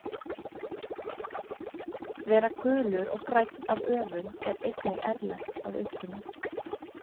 Vera gulur og grænn af öfund er einnig erlent að uppruna.